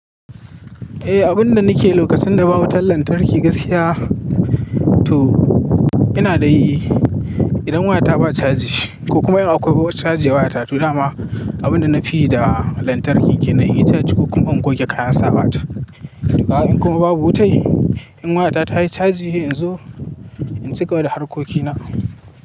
Eh, abunda nike lokacin da babu wutan lantarki gaskiya to ina dai yi. Idan wayata ba chaji ko kuma akwai chaji a wayata, to dama abunda nafiyi da lantarkin kenan inyi charge ko kuma in goge kayan sawa ta. In kuma babu wutai in wayata tayi chaji, in zo in cigaba da harkokina.